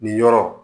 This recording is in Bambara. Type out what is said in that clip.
Nin yɔrɔ